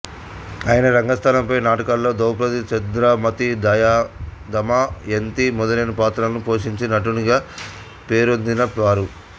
ఆయన రంగస్థలంపై నాటకాల్లో ద్రౌపది చంద్రమతి దమయంతి మొదలైన పాత్రలను పోషించి నటునిగా పేరొందిన వారు